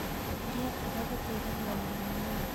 Kũrĩa mmboga gũteithagia ũgima wa mwĩrĩ